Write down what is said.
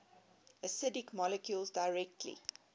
acidic molecules directly